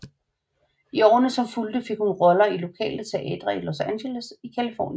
I årene som fulgte fik hun roller i lokale teatre i Los Angeles i Californien